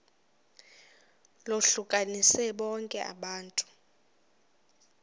lohlukanise bonke abantu